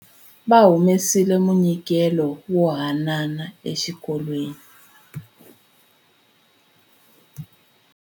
Va humesile munyikelo wo hanana exikolweni.